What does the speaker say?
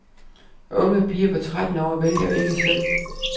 Unge piger på tretten år vælger ikke selv.